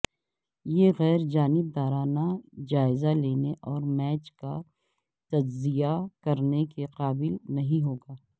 یہ غیر جانبدارانہ جائزہ لینے اور میچ کا تجزیہ کرنے کے قابل نہیں ہو گا